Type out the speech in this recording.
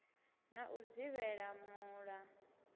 na u dzivhela mul a